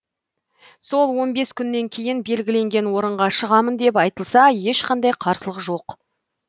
сол он бес күннен кейін белгіленген орынға шығамын деп айтылса ешқандай қарсылық жоқ